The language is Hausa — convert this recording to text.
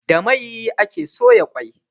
Da mai ake soya kwai